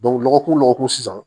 lɔgɔkun lɔkɔkun sisan